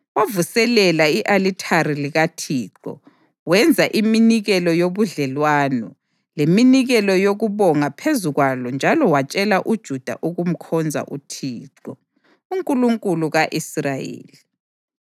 Wavuselela i-alithari likaThixo wenza iminikelo yobudlelwano leminikelo yokubonga phezu kwalo njalo watshela uJuda ukumkhonza uThixo, uNkulunkulu ka-Israyeli.